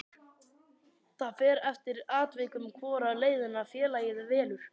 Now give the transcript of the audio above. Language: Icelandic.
Það fer eftir atvikum hvora leiðina félagið velur.